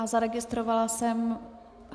A zaregistrovala jsem...